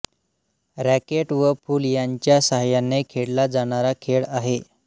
racket व फूल यांच्या साह्यायाने खेळला जाणारा खेळ आहे